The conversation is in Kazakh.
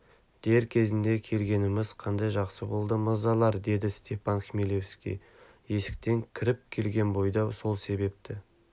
дер кезінде келгеніміз қандай жақсы болған мырзалар деді степан хмелевский есіктен кіріп келген бойда сол себепті